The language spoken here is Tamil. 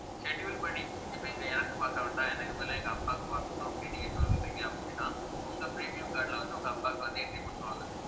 schedule படி இப்ப இங்க எனக்கு பார்க்க வேண்டாம் எனக்கு பதிலா எங்க அப்பாவுக்கு பார்க்கணும் அப்படின்னு நீங்க சொல்றீங்க அப்படின்னா உங்க premium card ல வந்து உங்க அப்பாவுக்கு வந்து entry போட்டிருவாங்க